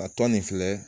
A tɔ nin filɛ